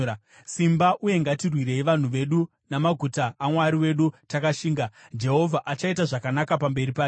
Simba uye ngatirwirei vanhu vedu namaguta aMwari wedu takashinga. Jehovha achaita zvakanaka pamberi pake.”